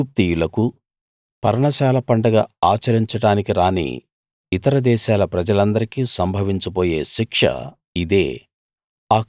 ఐగుప్తీయులకు పర్ణశాల పండగ ఆచరించడానికి రాని ఇతర దేశాల ప్రజలందరికీ సంభవించబోయే శిక్ష ఇదే